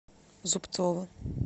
зубцова